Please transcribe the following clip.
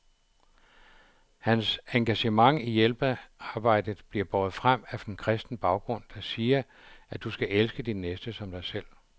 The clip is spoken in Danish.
Hans engagement i hjælpearbejdet bliver båret frem af en kristen baggrund, der siger, at du skal elske din næste som dig selv.